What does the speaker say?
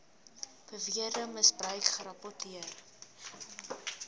beweerde misbruik gerapporteer